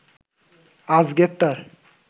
আজ গ্রেপ্তার